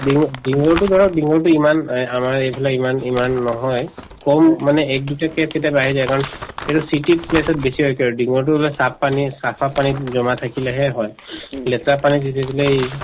denue dengue ৰতো ধৰক dengue তো ইমান এহ্ আমাৰ এইফালে ইমান ইমান নহয় কম মানে এক দুইটা case কেতিয়াবা আহি যায় কাৰণ এইটো city place ত বেছি হয় কাৰণ dengue তো saaf পানী চাফা পানীত জমা থাকিলেহে হয় লেতেৰা পানী ই